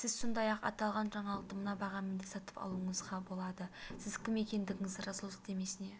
сіз сондай-ақ аталған жаңалықты мына бағамен де сатып алуыңызға болады сіз кім екендігіңізді растау сілтемесіне